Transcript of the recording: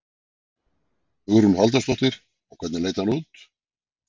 Hugrún Halldórsdóttir: Og hvernig leit hann út?